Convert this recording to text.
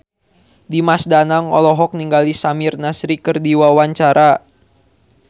Dimas Danang olohok ningali Samir Nasri keur diwawancara